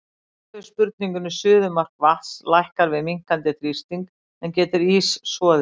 Í svari við spurningunni Suðumark vatns lækkar við minnkandi þrýsting, en getur ís soðið?